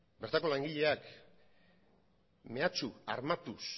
bertako langileak mehatxu armatuz